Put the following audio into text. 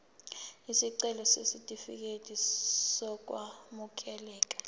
isicelo sesitifikedi sokwamukeleka